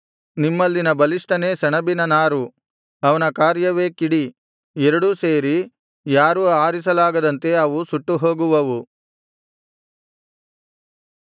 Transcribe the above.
ನಿಮ್ಮಲ್ಲಿನ ಬಲಿಷ್ಠನೇ ಸೆಣಬಿನ ನಾರು ಅವನ ಕಾರ್ಯವೇ ಕಿಡಿ ಎರಡೂ ಸೇರಿ ಯಾರೂ ಆರಿಸಲಾಗದಂತೆ ಅವು ಸುಟ್ಟುಹೋಗುವವು